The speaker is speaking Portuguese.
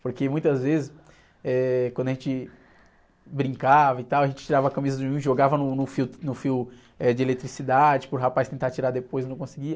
Porque muitas vezes, eh, quando a gente brincava e tal, a gente tirava a camisa de um e jogava no, no fio, no fio, eh, de eletricidade para o rapaz tentar tirar depois e não conseguia.